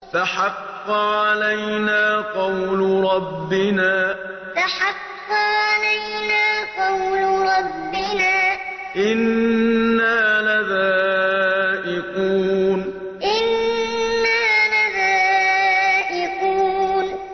فَحَقَّ عَلَيْنَا قَوْلُ رَبِّنَا ۖ إِنَّا لَذَائِقُونَ فَحَقَّ عَلَيْنَا قَوْلُ رَبِّنَا ۖ إِنَّا لَذَائِقُونَ